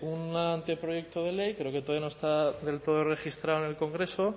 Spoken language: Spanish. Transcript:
un anteproyecto de ley pero que todavía no está del todo registrado en el congreso